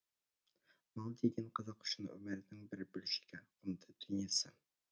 мал деген қазақ үшін өмірінің бір бөлшегі құнды дүниесі